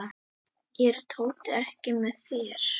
Er Tóti ekki með þér?